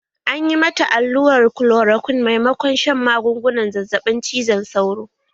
An yi mata allurar kolorokwin maimakon shan magungunan zazzaɓin cizon sauro